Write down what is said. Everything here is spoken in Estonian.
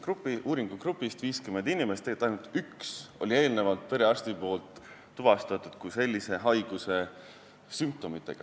Meie uuringugrupi 50 inimesest ainult ühel oli perearst eelnevalt tuvastanud haiguse sümptomid.